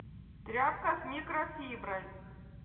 тряпка с микрофиброй